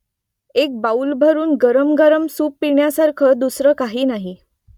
एक बाऊलभरून गरमगरम सूप पिण्यासारखं दुसरं काही नाही